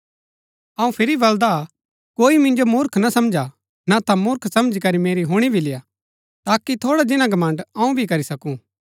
अऊँ फिरी बलदा हा कोई मिन्जो मूर्ख ना समझा ना ता मूर्ख समझी करी मेरी हुणी भी लेय्आ ताकि थोड़ा जिन्‍ना घमण्ड़ अऊँ भी करी सकूँ